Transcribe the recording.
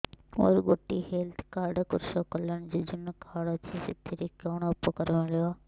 ମୋର ଗୋଟିଏ health card କୃଷକ କଲ୍ୟାଣ ଯୋଜନା କାର୍ଡ ଅଛି ସାଥିରେ କି ଉପକାର ମିଳିବ